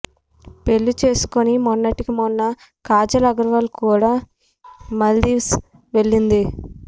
పెళ్లి చేసుకుని మొన్నటికి మొన్న కాజల్ అగర్వాల్ కూడా మాల్దీవ్స్ వెళ్లింది